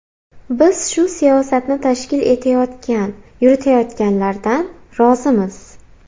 Biz shu siyosatni tashkil etayotgan, yuritayotganlardan rozimiz.